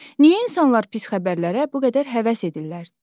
Niyə insanlar pis xəbərlərə bu qədər həvəs edirlər?